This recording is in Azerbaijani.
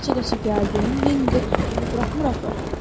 Qaça-qaça gəldim, Lendi tutduğunu buraxmır axı.